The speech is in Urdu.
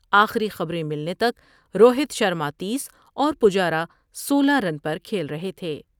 آخری خبر میں ملنے تک روہت شرما تیس اور پجارا سولہ رن پر کھیل رہے تھے ۔